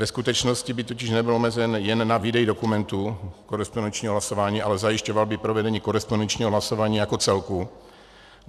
Ve skutečnosti by totiž nebyl omezen jen na výdej dokumentů korespondenčního hlasování, ale zajišťoval by provedení korespondenčního hlasování jako celku.